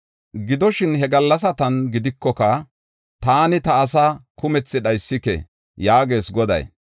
“Gidoshin, he gallasatan gidikoka, taani ta asaa kumethi dhaysike” yaagees Goday